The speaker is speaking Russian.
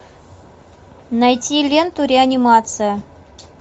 найти ленту реанимация